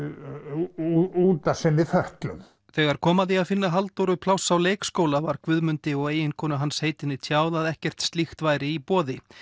út af sinni fötlun þegar kom að því að finna Halldóru pláss á leikskóla var Guðmundi og eiginkonu hans heitinni tjáð að ekkert slíkt væri í boði